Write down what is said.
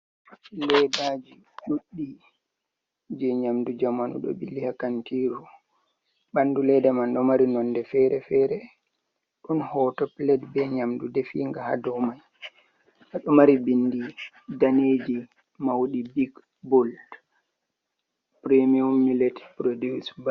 Leedaji ɗudɗi jee nƴaamdu jamanu ɗo ɓiili ha kantiru. Ɓandu leda man ɗo maari nonde fere-fere, ɗon hooto pilet be nƴaamdu deefinga ha doumai. Ɗo maari bindi daneeji mauɗi bik bul porimiyum milet purodus bai.